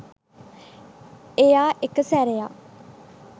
එයා එක සැරයක්